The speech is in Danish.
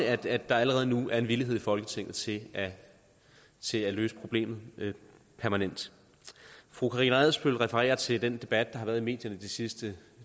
at der allerede nu er en villighed i folketinget til at til at løse problemet permanent fru karina adsbøl refererer til den debat der har været i medierne de sidste